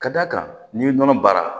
Ka d'a kan n'i ye nɔnɔ baara